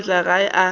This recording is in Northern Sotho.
ile go fihla gae a